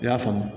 I y'a faamu